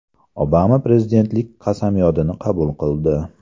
Obama prezidentlik qasamyodini qabul qildi .